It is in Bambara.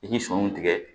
I ye sɔw tigɛ